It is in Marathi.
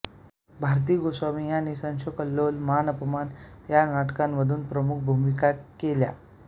भारती गोसावी यांनी पुढे संशयकल्लोळ मानापमान या नाटकांमधून प्रमुख भूमिका केल्या